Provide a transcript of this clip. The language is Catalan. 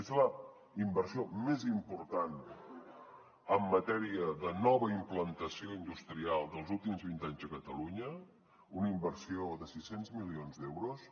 és la inversió més important en matèria de nova implantació industrial dels últims vint anys a catalunya una inversió de sis cents milions d’euros